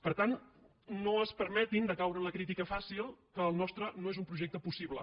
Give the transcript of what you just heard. per tant no es permetin de caure en la crítica fàcil que el nostre no és un projecte possible